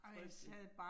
Frygteligt